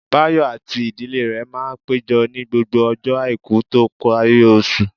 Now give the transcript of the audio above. Báyọ̀ àti ìdílé rẹ̀ máa péjọ ní gbogbo ọjọ́ àìkú tó parí oṣù